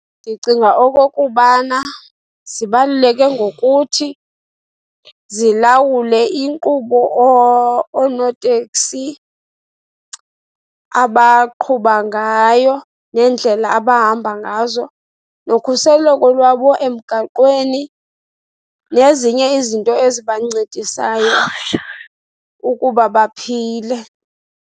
Ndicinga okokubana zibaluleke ngokuthi zilawule inkqubo oonoteksi abaqhuba ngayo neendlela abahamba ngazo, nokhuseleko lwabo emgaqweni nezinye izinto ezibancedayo ukuba baphile.